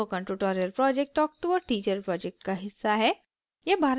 spoken tutorial project talk to a teacher project का हिस्सा है